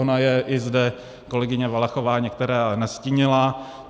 Ona je i zde kolegyně Valachová některé nastínila.